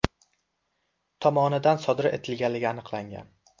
tomonidan sodir etilganligi aniqlangan.